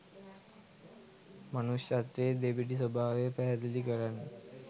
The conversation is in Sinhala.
මනුෂ්‍යත්වයේ දෙබිඩි ස්වභාවය පැහැදිලි කරන්න.